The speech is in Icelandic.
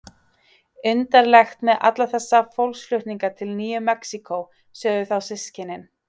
Undarlegt með alla þess fólksflutninga til Nýju Mexíkó, sögðu þá systkinin.